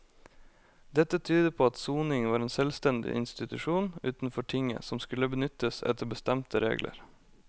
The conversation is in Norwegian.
Dette tyder på at soning var en selvstendig institusjon utenfor tinget som skulle benyttes etter bestemte regler.